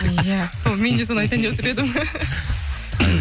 иә сол мен де соны айтайын деп отыр едім